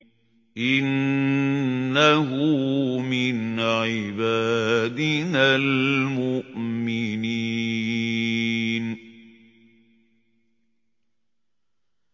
إِنَّهُ مِنْ عِبَادِنَا الْمُؤْمِنِينَ